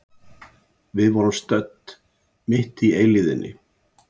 Við vorum stödd mitt í eilífðinni.